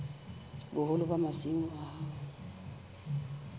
boholo ba masimo a hao